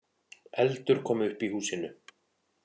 Eldur kom upp í húsinu